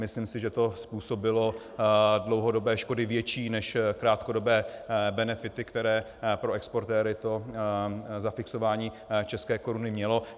Myslím si, že to způsobilo dlouhodobé školy větší než krátkodobé benefity, které pro exportéry to zafixování české koruny mělo.